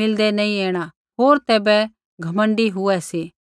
मिलदै नैंई ऐणा होर तैबै घमण्डी हुऐ सी